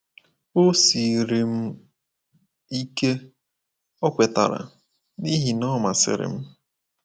“O siiri m ike, ” O kwetara, “n’ihi na Ọ masịrị m.